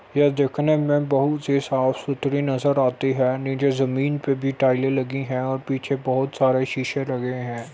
ये देखने में बहुत साफ़ सुथरी नजर आती है| निचे जमीं पे टाइल्स लगी है और पीछे बहोत सारे शीशे लगे है।